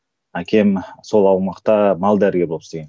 әкем сол аумақта мал дәрігері болып істеген